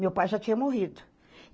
Meu pai já tinha morrido.